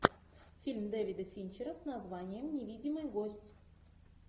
фильм дэвида финчера с названием невидимый гость